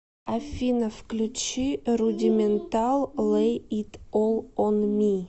афина включи рудиментал лэй ит ол он ми